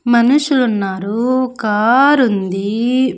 మనుషులు ఉన్నారు కారు ఉంది.